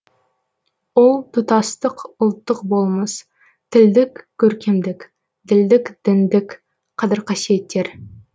ол тұтастық ұлттық болмыс тілдік көркемдік ділдік діндік қадір қасиеттер